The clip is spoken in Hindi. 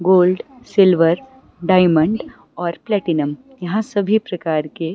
गोल्ड सिल्वर डायमंड और प्लैटिनम यहां सभी प्रकार के--